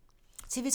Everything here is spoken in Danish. TV 2